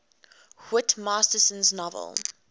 whit masterson's novel